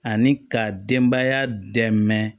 Ani ka denbaya dɛmɛ